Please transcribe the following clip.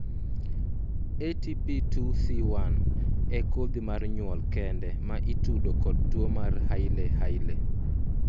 ATP2C1 e kodhi mar nyuol kende ma itudo kod tuo mar hailey hailey